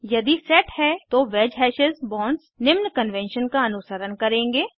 यदि सेट है तो वैज हैशेस बॉन्ड्स निम्न कन्वेंशन का अनुसरण करेंगे